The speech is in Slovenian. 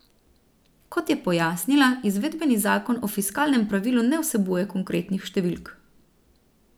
Kot je pojasnila, izvedbeni zakon o fiskalnem pravilu ne vsebuje konkretnih številk.